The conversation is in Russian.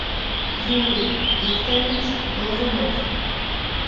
юрий викторович глазунов